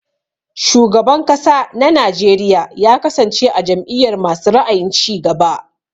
Shugaban kasa na Najeriya ya kasance a jam'iyar masu ra'ayin cigaba.